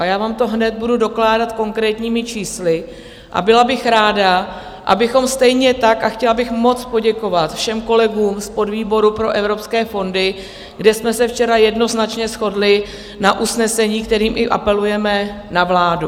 A já vám to hned budu dokládat konkrétními čísly a byla bych ráda, abychom stejně tak, a chtěla bych moc poděkovat všem kolegům z podvýboru pro evropské fondy, kde jsme se včera jednoznačně shodli na usnesení, kterým i apelujeme na vládu.